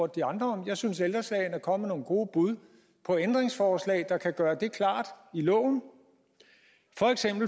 de andre jeg synes at ældre sagen er kommet med nogle gode bud på ændringsforslag der kan gøre det klart i loven